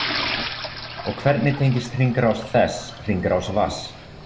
Og hvernig tengist hringrás þess hringrás vatns?